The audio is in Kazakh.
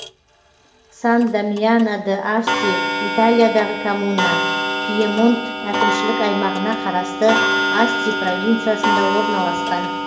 сан дамьяно д асти италиядағы коммуна пьемонт әкімшілік аймағына қарасты асти провинциясында орналасқан